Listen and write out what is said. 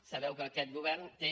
sabeu que aquest govern té